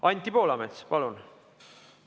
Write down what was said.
Anti Poolamets, palun!